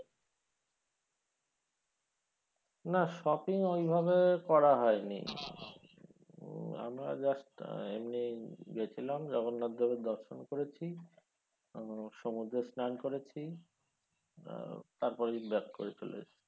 না shopping ওইভাবে করা হয়নি আমরা just এমনি গেছিলাম জগন্নাথ দেবের দর্শন করেছি আহ সমুদ্রে স্নান করেছি তারপরের দিন back করে চলে এসছি।